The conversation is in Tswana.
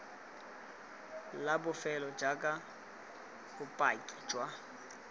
la bofelo jaaka bopaki jwa